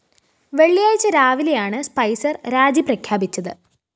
വെള്ളിയാഴ്ച രാവിലെയാണ് സ്പൈസര്‍ രാജി പ്രഖ്യാപിച്ചത്